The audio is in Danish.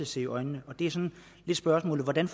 se i øjnene mit spørgsmål er hvordan